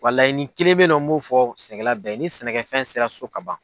Wa laɲini kelen bɛ ye nɔ n b'o fɔ sɛnɛkɛla bɛɛ ye ni sɛnɛkɛfɛn sera so ka ban.